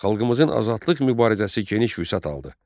Xalqımızın azadlıq mübarizəsi geniş vüsət aldı.